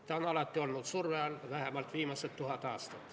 Ta on alati olnud surve all, vähemalt viimased tuhat aastat.